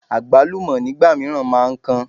Àgbálùmọ́ nígbà mìíràn máa ń kan.